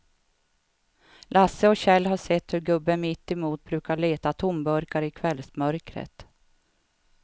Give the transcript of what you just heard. Lasse och Kjell har sett hur gubben mittemot brukar leta tomburkar i kvällsmörkret.